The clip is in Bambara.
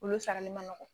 Olu sarali man nɔgɔn